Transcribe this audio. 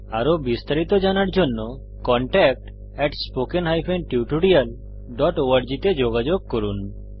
আরো বিস্তারিত জানার জন্য contactspoken tutorialorg তে যোগযোগ করুন